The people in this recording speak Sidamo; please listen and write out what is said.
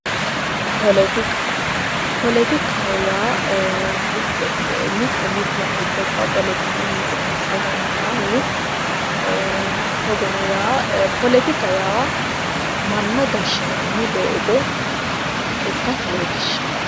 poletikka ,poletikkaho yaa mitte mitteti gobba poletikunniti massagattanohu togonno yaa poletikka yaa manna gashinanni ikkasi leelishano